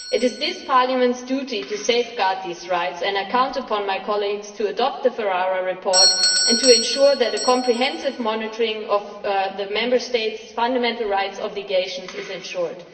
It is this Parliament's duty to safeguard these rights, and I count upon my colleagues to adopt the Ferrara report and to ensure that comprehensive monitoring of the Member States' fundamental rights obligations is ensured.